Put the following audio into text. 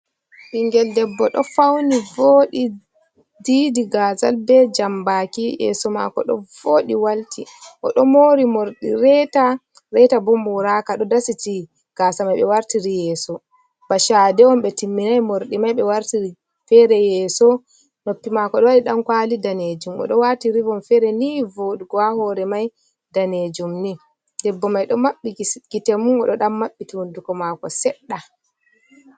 Ɓingel debbo ɗo fauni vodi diidi gazal be jambaki yeso mako ɗo voɗi walti o ɗo moori mordi reta, reta bo moraaka ɗo dasiti gaasa mai ɓe wartiri yeeso ba shaade on ɓe timminai morɗi mai be wartiri fere yeso noppi mako ɗo waɗi ɗankwaali daneejum o ɗo waati ribon fere nivooɗugo ha hoore mai daneejum ni debbo mai ɗo maɓɓi gite mun o ɗo ɗan maɓɓiti hunduko maako seɗɗa.